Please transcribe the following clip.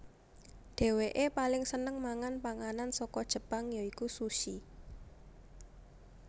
Dhéwékeè paling seneng mangan panganan saka Jepang ya iku sushi